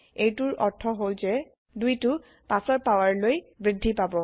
এইটোৰ অৰ্থ হল যে ২টো ৫ৰ পাৱাৰলৈ বৃদ্ধি পাব